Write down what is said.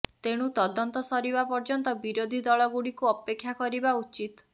ତେଣୁ ତଦନ୍ତ ସରିବା ପର୍ଯ୍ୟନ୍ତ ବିରୋଧିଦଳ ଗୁଡିକୁ ଅପେକ୍ଷା କରିବା ଉଚିତ